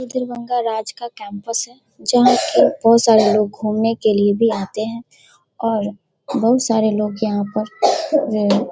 ये दरभंगा राज का कैम्पस है जहाँ की बहुत सारे लोग घुमने के लिए भी आते हैं और बहुत सारे लोग यहाँ पर ये --